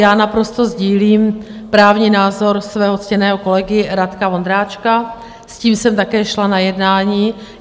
Já naprosto sdílím právní názor svého ctěného kolegy Radka Vondráčka, s tím jsem také šla na jednání.